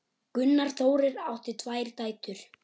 Gunnar Þórir átti tvær dætur.